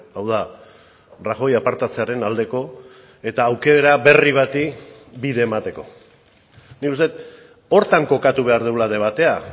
hau da rajoy apartatzearen aldeko eta aukera berri bati bide emateko nik uste dut horretan kokatu behar dugula debatea